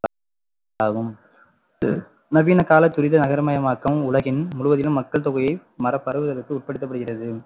ஆகும் நவீன கால துரித நகரமயமாக்கம் உலகின் முழுவதிலும் மக்கள் தொகையை மறா~ பரவுவதற்கு உட்படுத்தப்படுகிறது